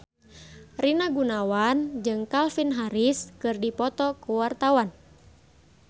Rina Gunawan jeung Calvin Harris keur dipoto ku wartawan